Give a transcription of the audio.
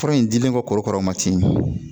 Fura in dilen kɔrokara ma ten